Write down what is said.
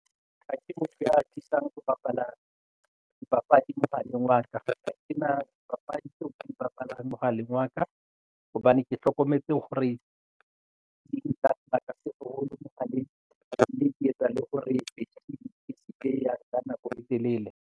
Ha ke motho ya atisang ho bapala dipapadi mohaleng wa ka ena papadi tseo ke di bapalang mohaleng wa ka hobane ke hlokometse hore di nka sebaka se hole mohaleng mme di etsa le hore ke fihle ka nako e telele.